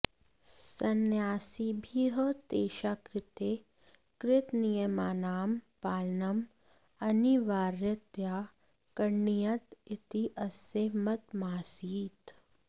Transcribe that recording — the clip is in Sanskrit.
सन्न्यासिभिः तेषाकृते कृतनियमानां पालनम् अनिवार्यतया करणीयम् इति अस्य मतमासीत्